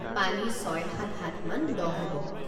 পানী ছয় সাত হাতমান দ হ'ব।